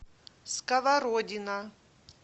сковородино